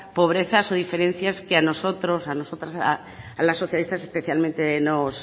pobrezas o diferencias que a nosotros y a nosotras a las socialistas especialmente nos